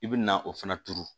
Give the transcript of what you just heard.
I bi na o fana turu